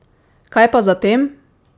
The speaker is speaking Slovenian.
Kaj pa zatem?